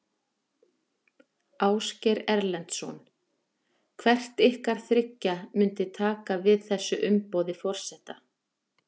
Ásgeir Erlendsson: Hvert ykkar þriggja myndi taka við þessu umboði forseta?